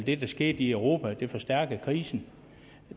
det der skete i europa forstærkede krisen